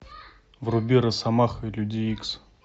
вруби росомаха и люди икс